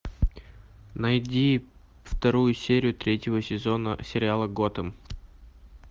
найди вторую серию третьего сезона сериала готэм